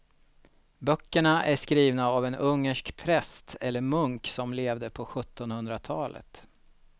Böckerna är skrivna av en ungersk präst eller munk som levde på sjuttonhundratalet.